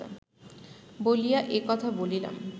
বলিয়া এ কথা বলিলাম